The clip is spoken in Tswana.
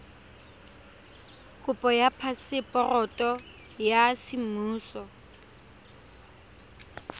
kopo ya phaseporoto ya semmuso